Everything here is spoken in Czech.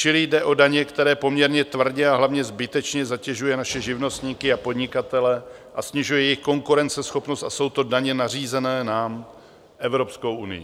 Čili jde o daně, které poměrně tvrdě a hlavně zbytečně zatěžují naše živnostníky a podnikatele a snižují jejich konkurenceschopnost, a jsou to daně nařízené nám Evropskou unií.